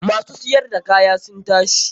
Ma su siyar da kaya sun tashi.